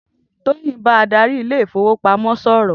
Toyin n bà àdárí ilé ifówópámò sòrò